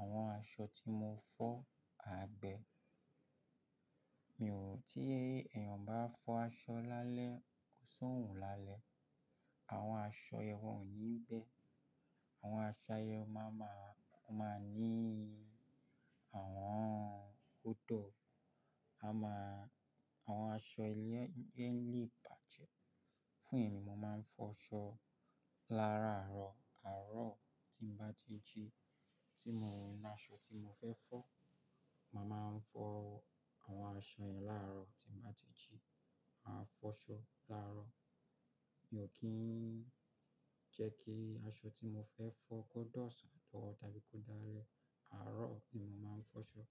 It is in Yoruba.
àwọn aṣọ tí mo fọ á gbe. Mi oo ti eeyan ba fo aso lale ko si orun lale. Àwọn aṣọ yẹ̀n wọ́n ò ní gbẹ́. Àwọn aṣọ yen máa ma-- ó máa ní àwọn odò. A máa-- àwọn aṣọ ilé lè bàjẹ́. Fún èmi, mo máa ń fọṣọ làáràárọ̀. Àárọ̀ tí n bá ti ji tí mo rí aṣọ tí mo fẹ́ fọ, màá máa fọ àwọn aṣọ yẹn làárọ̀ tí ń bá ti ji. Màá fọṣọ làárọ̀. Mi oo kin je ki aso ti mo fe fo ko di osan tabi ko di ale. Àárọ̀ ni mo máa ń fọṣọ.